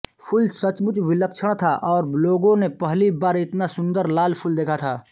फूल सचमुच विलक्षण था और लोगों ने पहली बार इतना सुन्दर लाल फूल देखा था